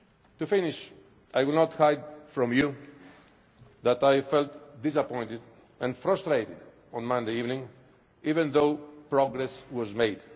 To finish, I will not hide from you that I felt disappointed and frustrated on Monday evening, even though progress was